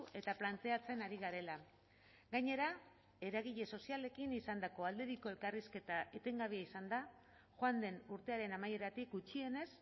eta planteatzen ari garela gainera eragile sozialekin izandako aldebiko elkarrizketa etengabea izan da joan den urtearen amaieratik gutxienez